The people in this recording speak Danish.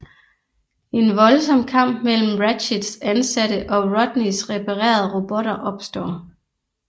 En voldsom kamp mellem Ratchets ansatte og Rodneys reparerede robotter opstår